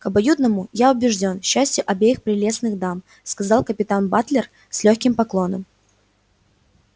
к обоюдному я убеждён счастью обеих прелестных дам сказал капитан батлер с лёгким поклоном